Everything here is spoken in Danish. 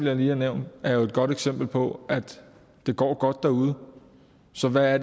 jeg lige har nævnt jo er et godt eksempel på at det går godt derude så hvad er